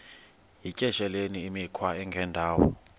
yityesheleni imikhwa engendawo